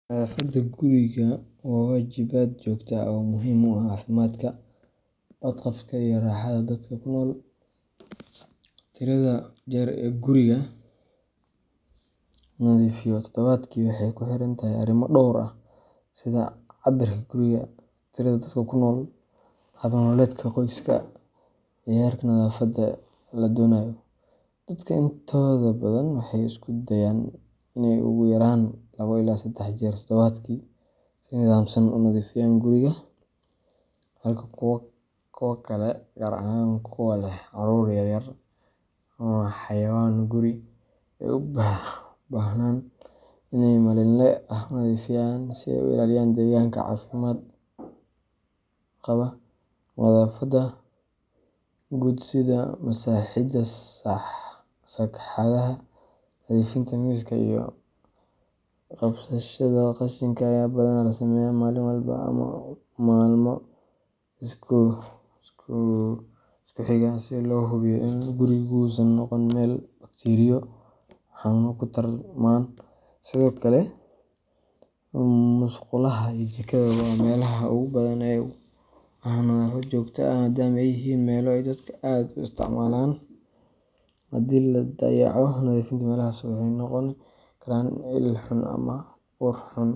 Nadaafadda guriga waa waajibaad joogto ah oo muhiim u ah caafimaadka, badqabka, iyo raaxada dadka ku nool. Tirada jeer ee guriga la nadiifiyo toddobaadkii waxay ku xiran tahay arrimo dhowr ah sida cabbirka guriga, tirada dadka ku nool, hab nololeedka qoyska, iyo heerka nadaafadda la doonayo. Dadka intooda badan waxay isku dayaan in ay ugu yaraan labo ilaa saddex jeer todobaadkii si nidaamsan u nadiifiyaan guriga, halka kuwa kale, gaar ahaan kuwa leh carruur yar yar ama xayawaan guri, ay u baahdaan in ay si maalinle ah u nadiifiyaan si ay u ilaaliyaan deegaanka caafimaad qaba. Nadaafadda guud sida masaxidda sagxadaha, nadiifinta miisaska, iyo qabashada qashinka ayaa badanaa la sameeyaa maalin walba ama maalmo isku xiga si loo hubiyo in gurigu uusan noqon meel bakteeriyo iyo xanuunno ku tarmaan. Sidoo kale, musqulaha iyo jikada waa meelaha ugu badan ee u baahan nadaafad joogto ah maadaama ay yihiin meelaha ay dadku aad u isticmaalaan. Haddii la dayaco nadiifinta meelahaas, waxay noqon karaan il xanuun ama ur xun.